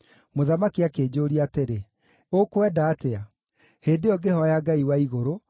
Mũthamaki akĩnjũũria atĩrĩ, “Ũkwenda atĩa?” Hĩndĩ ĩyo ngĩhooya Ngai wa Igũrũ,